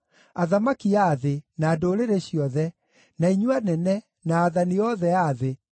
athamaki a thĩ, na ndũrĩrĩ ciothe, na inyuĩ anene, na aathani othe a thĩ,